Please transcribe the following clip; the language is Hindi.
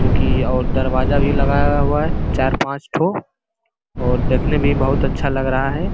जो की और दरवाजा भी लगाया हुआ है चार पाँचठो और देखने में बहुत अच्छा लग रहा है।